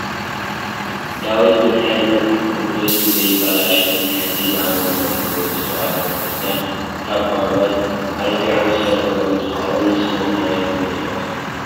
ዳዊት መትሓዚ መፅሓፍ ቅዱስ ንከይባላሾ መትሓዚ ብኣመንቲ ኦርቶዶክስ ተዋህዶ ክርስትያን ካብ ቆርበት ኣልፊዖም ዝሰርሕዎ እንትከውን ንስኩም'ከ ሪኢኩም ዶ ትፈልጡ ?